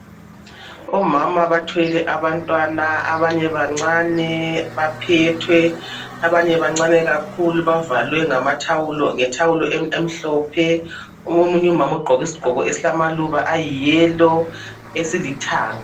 Omama bathwele abantwana abanye bancane baphethwe, abanye bancane kakhulu bavalwe ngamathawulo ngethawulo emhlophe omunye umama uqoke isiqoko esilama luba ayi yellow esilithanga.